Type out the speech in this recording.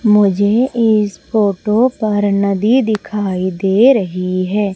मुझे इस फोटो पर नदी दिखाई दे रही है।